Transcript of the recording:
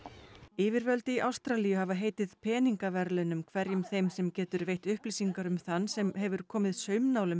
yfirvöld í Ástralíu hafa heitið peningaverðlaunum hverjum þeim sem getur veitt upplýsingar um þann sem hefur komið